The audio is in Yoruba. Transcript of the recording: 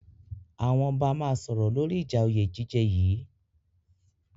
Àwọn ọba máa sọ̀rọ̀ lóri ìja òyé jíjẹ yìí.